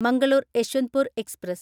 Mangalore Yeshwantpur express